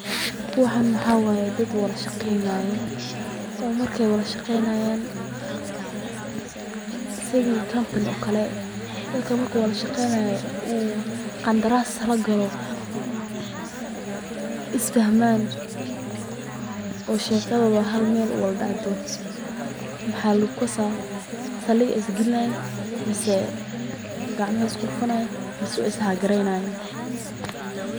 Waxaan waxa waye dad wada shaqeynayo, marki aay wada shaqeynayaan is fahmaan oo shekadooda hal meel uwada dacdo, waxaa lagu lasaa waay saliga ayeey is galinayin.